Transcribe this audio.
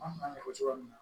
An b'a fɔ cogo min na